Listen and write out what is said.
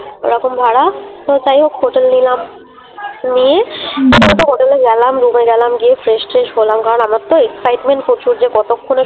ওরকম ভাড়া তো যাইহোক হোটেল নিলাম। নিয়ে হোটেলে গেলাম Room এ গেলাম গিয়ে Fresh ট্রেস হলাম কারণ আমার তো Excitement প্রচুর যে কতক্ষণে